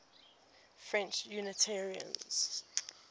french unitarians